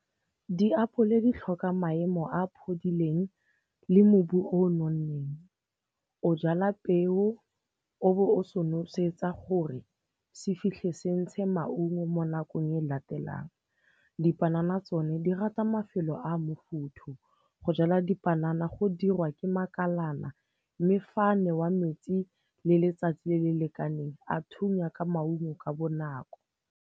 Diapole di tlhoka maemo a phodileng le mobu o nonneng. O jala peo, o bo o se nosetsa gore se fitlhe se ntshe maungo mo nakong e latelang. Dipanana tsone di rata mafelo a mofuthu, o jala dipanana go dirwa ke makalana mme fa a newa metsi le letsatsi le le lekaneng a thunya ka maungo ka bonako.